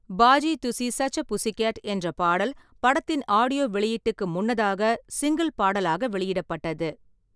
"Baji Tussi such a pussy cat" என்ற பாடல் படத்தின் ஆடியோ வெளியீட்டுக்கு முன்னதாக சிங்கிள் பாடலாக வெளியிடப்பட்டது.